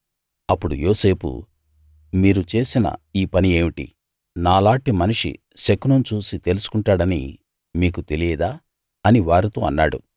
అప్పుడు యోసేపు మీరు చేసిన ఈ పని ఏమిటి నాలాటి మనిషి శకునం చూసి తెలుసుకుంటాడని మీకు తెలియదా అని వారితో అన్నాడు